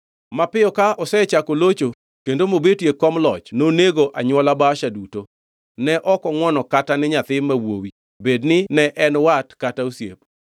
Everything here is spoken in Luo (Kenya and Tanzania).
Mapiyo ka osechako locho kendo mobetie e kom loch, nonego anywola Baasha duto. Ne ok ongʼwono kata ni nyathi ma wuowi, bed ni ne en wat kata osiep.